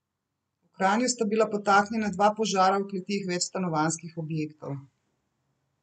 V Kranju sta bila podtaknjena dva požara v kleteh večstanovanjskih objektov.